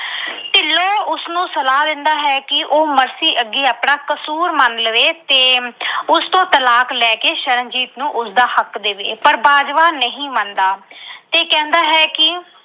ਤੇ ਉਸਨੂੰ ਸਲਾਹ ਦਿੰਦਾ ਹੈ ਕਿ ਉਹ ਮਰਸੀ ਅੱਗੇ ਆਪਣਾ ਕਸੂਰ ਮੰਨ ਲਵੇ ਤੇ ਉਸ ਤੋਂ ਤਲਾਕ ਲੈ ਕੇ ਸ਼ਰਨਜੀਤ ਨੂੰ ਉਸਦਾ ਹੱਕ ਦੇਵੇ ਪਰ ਬਾਜਵਾ ਨਹੀਂ ਮੰਨਦਾ ਤੇ ਕਹਿੰਦਾ ਹੈ ਕਿ